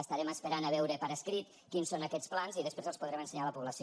estarem esperant a veure per escrit quins són aquests plans i després els podrem ensenyar a la població